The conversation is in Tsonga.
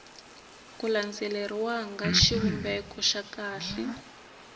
ku landzeleriwanga xivumbeko xa kahle